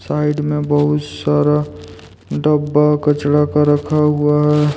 Side में बहुत सारा डब्बा कचरा का रखा हुआ है।